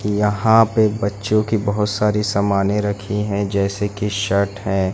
यहां पे बच्चों की बहोत सारी सामने रखी है जैसे की शर्ट है।